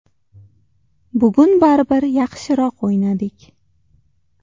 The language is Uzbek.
Bugun baribir yaxshiroq o‘ynadik.